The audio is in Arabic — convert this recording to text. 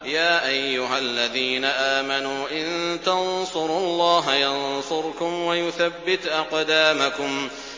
يَا أَيُّهَا الَّذِينَ آمَنُوا إِن تَنصُرُوا اللَّهَ يَنصُرْكُمْ وَيُثَبِّتْ أَقْدَامَكُمْ